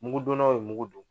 Mugudonnaw ye mugu don.